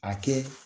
A kɛ